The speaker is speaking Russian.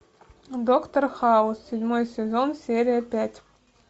доктор хаус седьмой сезон серия пять